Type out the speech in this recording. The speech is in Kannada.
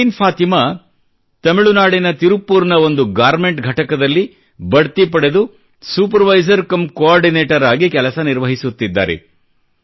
ಪರ್ವೀನ್ ಫಾತಿಮಾ ತಮಿಳುನಾಡಿನ ತಿರುಪ್ಪುರ್ ನ ಒಂದು ಗಾರ್ಮೆಂಟ್ ಘಟಕದಲ್ಲಿ ಬಡ್ತಿ ಪಡೆದು ಸೂಪರ್ವೈಸರ್ ಕಮ್ ಕೊಆರ್ಡಿನೇಟರ್ ಆಗಿ ಕೆಲಸ ನಿರ್ವಹಿಸುತ್ತಿದ್ದಾರೆ